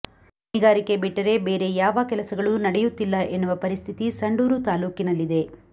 ಗಣಿಗಾರಿಕೆ ಬಿಟ್ಟರೆ ಬೇರೆ ಯಾವ ಕೆಲಸಗಳೂ ನಡೆಯುತ್ತಿಲ್ಲ ಎನ್ನುವ ಪರಿಸ್ಥಿತಿ ಸಂಡೂರು ತಾಲೂಕಿನಲ್ಲಿದೆ